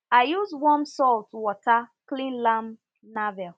i use warm salt water clean lamb navel